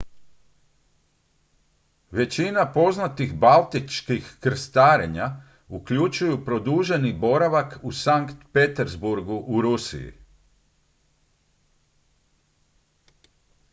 većina poznatih baltičkih krstarenja uključuju produženi boravak u sankt peterburgu u rusiji